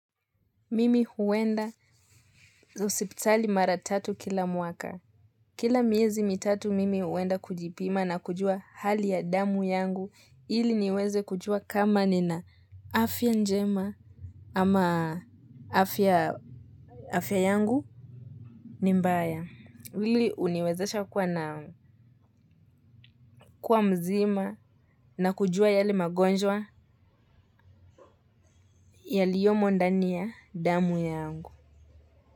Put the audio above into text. Mimi huwenda hosipitali mara tatu kila mwaka. Kila miezi mitatu mimi huenda kujipima na kujua hali ya damu yangu ili niweze kujua kama nina afya njema ama afya afya yangu. Nimbaya hili uniwezesha kuwa na kuwa mzima na kujua yale magonjwa yaliyomo ndania damu yangu.